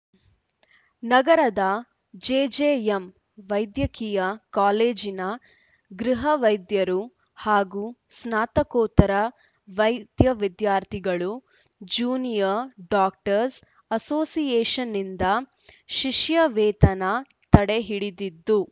ನಗರದ ಜೆಜೆಎಂ ವೈದ್ಯಕೀಯ ಕಾಲೇಜಿನ ಗೃಹ ವೈದ್ಯರು ಹಾಗೂ ಸ್ನಾತಕೋತ್ತರ ವೈದ್ಯ ವಿದ್ಯಾರ್ಥಿಗಳು ಜ್ಯೂನಿಯರ್‌ ಡಾಕ್ಟರ್ಸ್ ಅಸೋಸಿಯೇಷನ್‌ನಿಂದ ಶಿಷ್ಯ ವೇತನ ತಡೆ ಹಿಡಿದಿದ್ದು